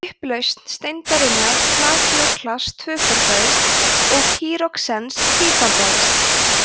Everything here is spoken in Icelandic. upplausn steindarinnar plagíóklass tvöfaldaðist og pýroxens tífaldaðist